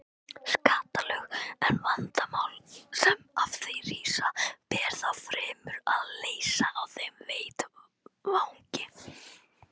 skattalög, en vandamál sem af því rísa ber þá fremur að leysa á þeim vettvangi.